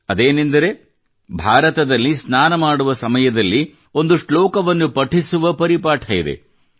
ಅದೇನೆಂದರೆ ಭಾರತದಲ್ಲಿ ಸ್ನಾನ ಮಾಡುವ ಸಮಯದಲ್ಲಿ ಒಂದು ಶ್ಲೋಕವನ್ನು ಪಠಿಸುವ ಪರಿಪಾಠ ಇತ್ತು ಅದು